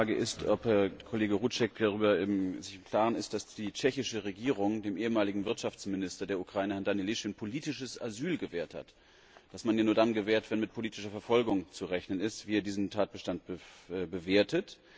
Die eine Frage ist, ob Herr Kollege Rouček sich darüber im Klaren ist, dass die tschechische Regierung dem ehemaligen Wirtschaftsminister der Ukraine, Herrn Danylyschyn, politisches Asyl gewährt hat das man ja nur dann gewährt, wenn mit politischer Verfolgung zu rechnen ist und wie er diesen Tatbestand bewertet.